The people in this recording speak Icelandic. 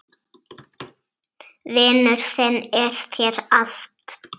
Vinur þinn er þér allt.